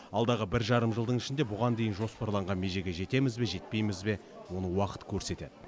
алдағы бір жарым жылдың ішінде бұған дейін жоспарланған межеге жетеміз бе жетпейміз бе оны уақыт көрсетеді